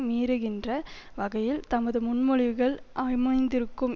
மீறுகின்ற வகையில் தமது முன்மொழிவுகள் அமைந்திருக்கும்